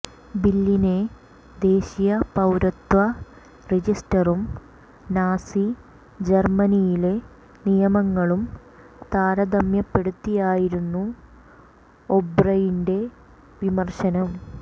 ബില്ലിനെ ദേശീയ പൌരത്വ രജിസ്റ്ററും നാസി ജര്മനിയിലെ നിയമങ്ങളും താരതമ്യപ്പെടുത്തിയായിരുന്നു ഒബ്രെയിന്റെ വിമര്ശനം